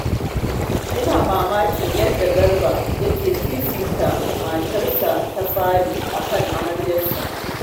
Ina mamakin yadda Garba yake fifita matarsa ta fari a kan amaryarsa